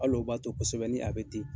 Hal'o b'a to kosɛbɛ ni a bɛ ten.